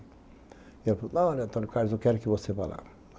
E ela falou, não, Antônio Carlos, eu quero que você vá lá.